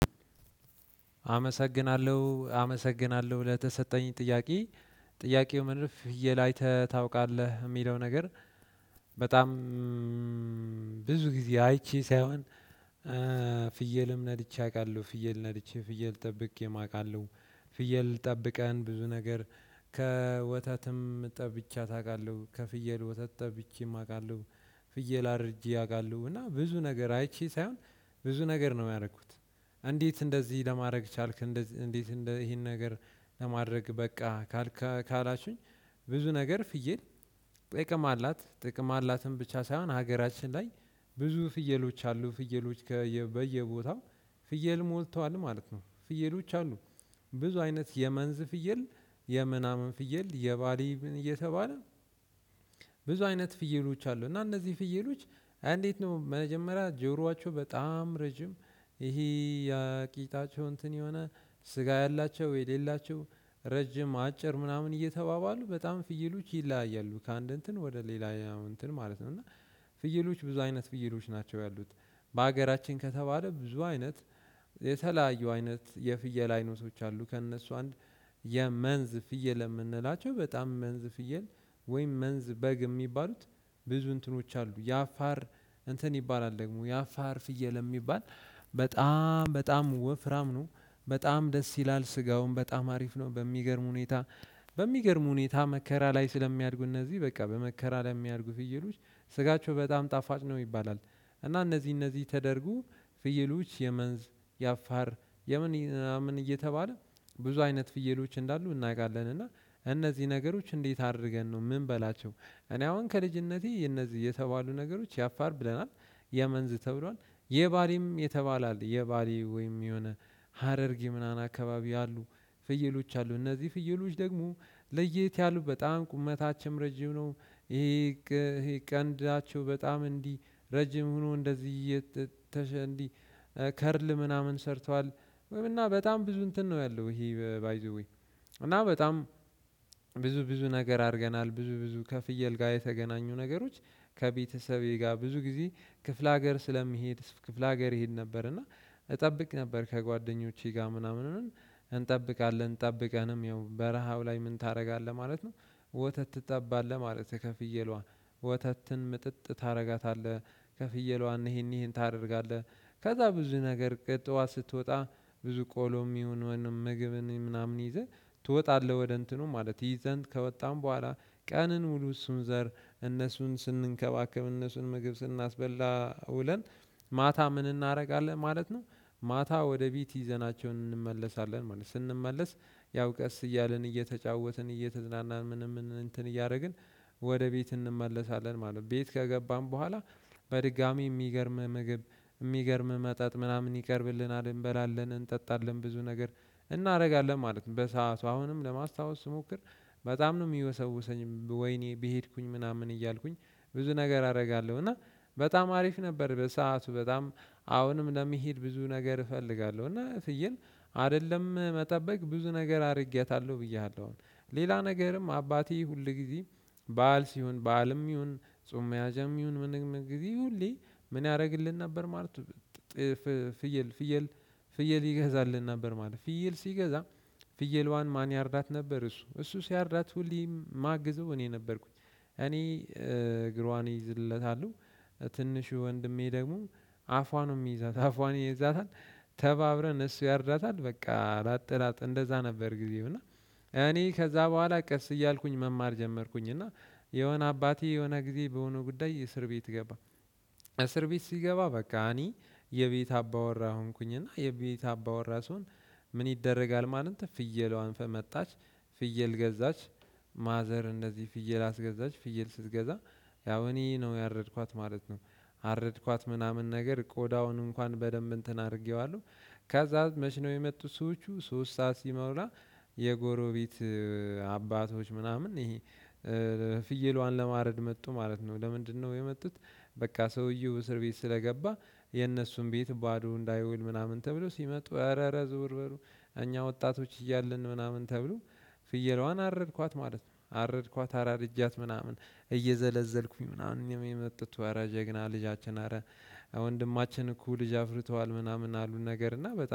አመሰግናለሁ አመሰግናለሁ ለተሰጠኝ ጥያቄ ጥያቄው ምን ፍየል አይተህ ታውቃለህ የሚለው ነገር? በጣም ብዙ ጊዜ አይቼ ሳይሆን ፍየልም ነድቼ አውቃለሁ ፍየል ነድቼ ፍየል ጠብቄም አውቃለሁ። ፍየል ጠብቀን ብዙ ነገር ከወተትም ጠብቻት አውቃለሁ ከፍየል ወተት ጠብቼም አውቃለሁ። ፍየል አርጄ ያውቃሉ እና ብዙ ነገር አይቼ ሳይሆን ብዙ ነገር ነው ያደረኩት። እንዴት እንደዚህ ለማድረግ ቻልክ? እንዴት እንደዚህ ይሄን ነገር ለማድረግ በቃ። ካላችሁኝ ብዙ ነገር ፍየል ጥቅም አላት ጥቅም አላትን ብቻ ሳይሆን ሀገራችን ላይ ብዙ ፍየሎች አሉ ፍየሎች በየቦታው ፍየል ሞልተዋል ማለት ነው። ፍየሎች አሉ። ብዙ አይነት የመንዝ ፍየል የምናምን ፍየል የባሊምም እየተባለ ብዙ አይነት ፍየሎች አሉ። እና እነዚህ ፍየሎች እንዴት ነው መጀመሪያ ጆሮአቸው በጣም ረጅም ይሄ የቂጣቸው እንትን የሆነ ስጋ ያላቸው የሌላቸው ረጅም አጭር ምናምን እየተባባሉ በጣም ፍይሎች ይለያያሉ። ከአንድ እንትን ወደ ሌላ እንትን ማለት ነው። እና ፍየሎች ብዙ አይነት ፍየሎች ናቸው ያሉት። በሀገራችን ከተባለ ብዙ አይነት የተለያየው አይነት የፍየል አይነቶች አሉ። ከእነሱ አንድ የመንዝ ፍየል የምንላቸው በጣም መንዝ ፍየል ወይም መንዝ በግ የሚባሉት ብዙ እንትኖች አሉ። ያፋር እንትን ይባላል ደግሞ ያፋር ፍየል የሚባል በጣም በጣም ወፍራም ነው። በጣም ደስ ይላል ስጋውን በጣም አሪፍ ነው። በሚገርም ሁኔታ በሚገርም ሁኔታ መከራ ላይ ስለሚያድጉ እነዚህ በቃ በመከራ ላይ ሚያድጉ ፍየሎች ስጋቸው በጣም ጣፋጭ ነው ይባላል። እና እነዚህ እነዚህ ተደርጉ ፍየሎች የመንዝ የአፋር የምን እናምን እየተባለ ብዙ አይነት ፍየሎች እንዳሉ እናውቃለን። እና እነዚህ ነገሮች እንዴት አድርገን ነው ምን በላቸው? እኔ አሁን ከልጅነቴ እነዚህ የተባሉ ነገሮች ያፋር ብለናል። የመንዝ ተብሏል የባሪም የተባለ አለ የባሪ ወይም የሆነ ሀረርጊ ምናምን አካባቢ አሉ። ፍየሎች አሉ እነዚህ ፍየሎች ደግሞ ለየት ያሉ በጣም ቁመታችም ረጅም ነው። ይሄ ቀንዳቸው በጣም እንዲህ ረጅም ሆኖ እንደዚህ እየተሸንዲ ከርል ምናምን ሰርቷል። ወይም እና በጣም ብዙ እንትን ነው ያለው ይሄ ባይ ዘ ዌይ። እና በጣም ብዙ ብዙ ነገር አድርገናል። ብዙ ብዙ ከፍየል ጋር የተገናኙ ነገሮች ከቤተሰቤ ጋር ብዙ ጊዜ ክፍለ ሀገር ስለሚሄድ ክፍለ ሀገር ይሄድ ነበር። እና እጠብቅ ነበር ከጓደኞቼ ጋር ምናምን እንጠብቃለን ጠብቀንም ያው በረሃው ላይ ምን ታደርጋለህ ማለት ነው። ወተት ትጠባለህ ማለት ከፍየሏ ወተትን ምጥጥ ታደርጋታለህ ከፍየሏን ይሄን ይሄን ታደርጋለህ። ከዛ ብዙ ነገር ቅጥዋ ስትወጣ ብዙ ቆሎም ይሁን ምግብን ምናምን ይዘህ ትወጣለህ ወደ እንትኑ ማለት ይዘን ከወጣን በኋላ ቀንን ሙሉ እሱን ዘር እነሱን ስንንከባከብ እነሱን ምግብ ስናስበላ ውለን ማታ ምን እናደርጋለን ማለት ነው። ማታ ወደ ቢት ይዘናቸውን እንመለሳለን ማለት ነው ስንመለስ። ያው ቀስ እያልን እየተጫወትን እየተዝናናን ምንም እንትን እያደረግን ወደ ቤት እንመለሳለን ማለት ነው። ቤት ከገባን በኋላ። በድጋሚ የሚገርም ምግብ የሚገርም መጠጥ ምናምን ይቀርብልናል እንበላለን እንጠጣለን ብዙ ነገር እናደርጋለን ማለት ነው። በሰአቱ አሁንም ለማስታወስ ስሞክር በጣም ነው የሚወሰውሰኝ ወይኔ ቢሄድኩኝ ምናምን እያልኩኝ ብዙ ነገር አደርጋለሁ። እና በጣም አሪፍ ነበር። በሰአቱ በጣም አሁንም ለሚሄድ ብዙ ነገር እፈልጋለሁ እና ፍየል አይደለም መጠበቅ ብዙ ነገር አድርጌያታለሁ። ብዬሃለሁ አሁን ሌላ ነገርም አባቴ ሁል ጊዜ በዓል ሲሆን በዓልም ይሁን ጾም መያዣም ይሁን ምንም ጊዜ ሁሌ ምን ያደርግልን ነበር ማለት። ፍየልፍየል ፍየል ይገዛልን ነበር ማለት ነው። ፍየል ሲገዛ ፍየሏን ማን ያርዳት ነበር? እሱ እሱ ሲያርዳት ሁሌም ማግዘው እኔ ነበርኩኝ እኔ እግሯን እይዝለታለሁ። ትንሹ ወንድሜ ደግሞ አፏን የሚይዛት አፏን ይይዛታል። ተባብረን እሱ ያርዳታል በቃ ላጥላጥ እንደዛ ነበር ጊዜው እና። እኔ ከዛ በኋላ ቀስ እያልኩኝ መማር ጀመርኩኝ እና የሆነ አባቴ የሆነ ጊዜ በሆነ ጉዳይ እስር ቤት ገባ። እስር ቤት ሲገባ በቃ እኔ የቤት አባወራ ሆንኩኝና የቤት አባወራ ስሆን። ምን ይደረጋል ማለት ፍየለዋን ፈመጣች። ፍየል ገዛች። ማዘር እንደዚህ ፍየል አስገዛች ፍየል ስትገዛ ያው እኔ ነው ያረድኳት ማለት ነው። አረድኳት ምናምን ነገር ቆዳውን እንኳን በደንብ እንትን አድርጌዋለሁ። ከዛ መች ነው የመጡት ሰዎች ሶስት ሰዓት ሲመሩ። የጎሮቤት አባቶች ምናምን ይሄ ፍየሏን ለማረድ መጡ ማለት ነው። ለምንድነው የመጡት? በቃ ሰውየው እስር ቤት ስለገባ። የነሱን ቤት ባዶ እንዳይውል ምናምን ተብሎ ሲመጡ ኧረ ኧረ ዝውር በሉ። እኛ ወጣቶች እያልን ምናምን ተብሎ። ፍየሏን አረድኳት ማለት ነው። አረድኳት አራርጃት ምናምን እየዘለዘልኩኝ ምናምን የመጡት ኧረ ጀግና ልጃችን አረ ወንድማችን እኮ ልጅ አፍርተዋል ምናምን አሉን። ነገር እና በጣም